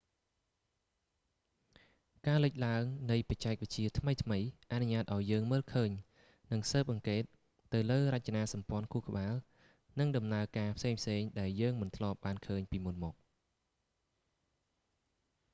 ការលិចឡើងនៃបច្ចេកវិទ្យាថ្មីៗអនុញ្ញាតឱ្យយើងមើលឃើញ និងស៊ើបអង្កេតទៅលើរចនាសម្ព័ន្ធខួរក្បាល និងដំណើរការផ្សេងៗដែលយើងមិនធ្លាប់បានឃើញពីមុនមក